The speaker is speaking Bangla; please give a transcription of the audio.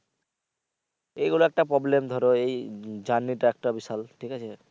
এইগুলো একটা problem ধরো এই journey টা একটা বিশাল ঠিক আছে।